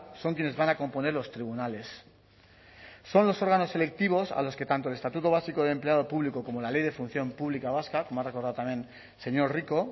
son quienes vayan a componer los tribunales son los órganos selectivos a los que tanto el estatuto básico del empleado público como la ley de función pública vasca como ha recordado también el señor rico